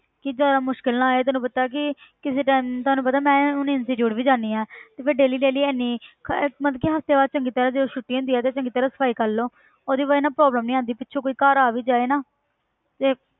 ਕਿ ਜ਼ਿਆਦਾ ਮੁਸ਼ਕਲ ਨਾ ਹੋਏ ਤੈਨੂੰ ਪਤਾ ਕਿ ਕਿਸੇ time ਤੁਹਾਨੂੰ ਪਤਾ ਮੈਂ ਹੁਣ institute ਵੀ ਜਾਂਦੀ ਹਾਂ ਤੇ daily daily ਇੰਨੀ ਖ~ ਮਤਲਬ ਕਿ ਹਫ਼ਤੇ ਬਾਅਦ ਚੰਗੀ ਤਰ੍ਹਾਂ ਜਦੋਂ ਛੁੱਟੀ ਹੁੰਦੀ ਆ ਤੇ ਚੰਗੀ ਤਰ੍ਹਾਂ ਸਫ਼ਾਈ ਕਰ ਲਓ ਉਹਦੀ ਵਜ੍ਹਾ ਨਾਲ ਕੋਈ problem ਨੀ ਆਉਂਦੀ, ਪਿੱਛੋਂ ਕੋਈ ਘਰ ਆ ਵੀ ਜਾਏ ਨਾ ਤੇ